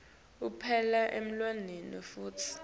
ekupela nelulwimi futsi